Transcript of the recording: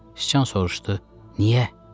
Sıçan soruşdu: Niyə?